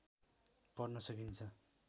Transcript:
पढ्न सकिन्छ